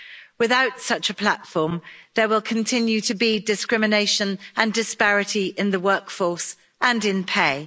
Without such a platform, there will continue to be discrimination and disparity in the workforce and in pay.